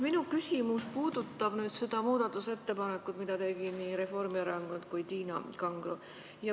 Minu küsimus puudutab seda muudatusettepanekut, mille tegid nii Reformierakond kui ka Tiina Kangro.